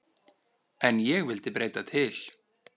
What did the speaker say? En ég vildi breyta til.